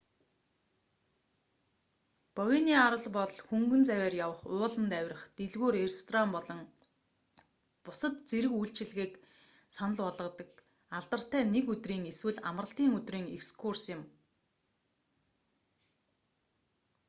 бовений арал бол хөнгөн завиар явах ууланд авирах дэлгүүр ресторан болон бусад зэрэг үйлчилгээг санал болгодог алдартай нэг өдрийн эсвэл амралтын өдрийн экскурс юм